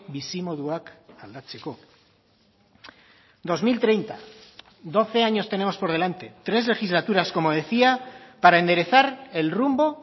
bizimoduak aldatzeko dos mil treinta doce años tenemos por delante tres legislaturas como decía para enderezar el rumbo